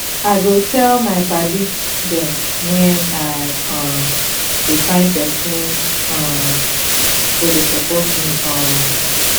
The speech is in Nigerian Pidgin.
i go tell my padi dem wen i um dey find pesin um wey go support me um